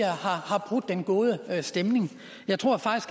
har brudt den gode stemning jeg tror